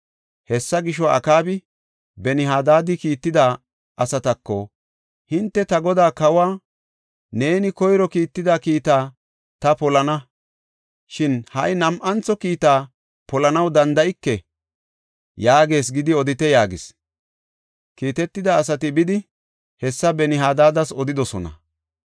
Hessa gisho, Akaabi Ben-Hadaadi kiitida asatako, “Hinte ta godaa kawa, ‘Neeni koyro kiitida kiitaa ta polana; shin ha nam7antho kiita polanaw danda7ike’ yaagees gidi odite” yaagis. Kiitetida asati bidi hessa Ben-Hadaadas odidosona.